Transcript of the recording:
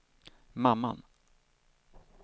mamman